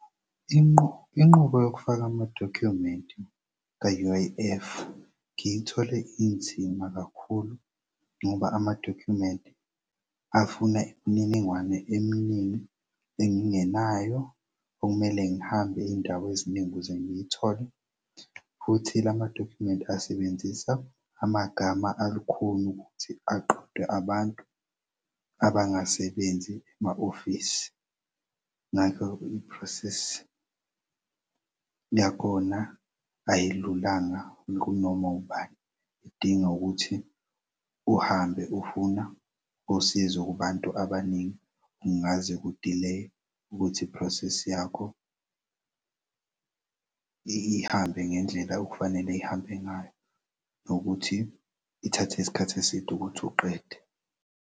Inqubo yokufaka amadokhumenti e-U_I_F ngiyithole inzima kakhulu ngoba amadokhumenti afuna imininingwane eminingi engingenayo okumele ngihambe izindaw'eziningi ukuze ngiyithole. Futhi lamadokhumenti asebenzisa amagama alukhuni ukuthi aqede abantu abangasebenzi ema-ofisi. Ngakho i-process yakhona ayilulanga kunoma ubani, idinga ukuthi uhambe ufuna usizo kubantu abaningi. Kungaze ku-delae ukuthi i-process yakho ihambe ngendlela okufanele ihambe ngayo nokuthi ithathe isikhathi eside ukuthi uqede.